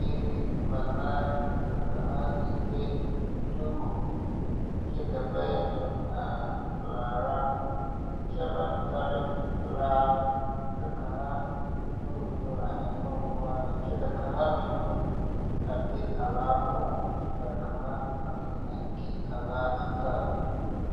Biire banaare ka kaŋa le duuku kyɛ ka bayi meŋ a laara kyɛ baŋ tare laa ka kaŋa de o nu ennoo noɔreŋ kyɛ ka kaŋa meŋ nu a be a laa poɔŋ kyɛ ka kaŋa a meŋ a te a laa a tare lɛ.